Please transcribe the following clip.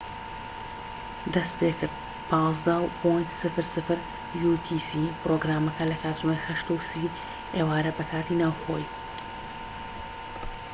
پرۆگرامەکە لە کاژێر 8:30 ئێوارە بە کاتی ناوخۆیی‎ 15.00 utc ‎دەستیپێکرد‎